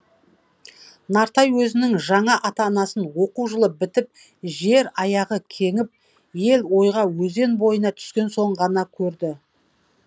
нартай өзінің жаңа ата анасын оқу жылы бітіп жер аяғы кеңіп ел ойға өзен бойына түскен соң ғана көрді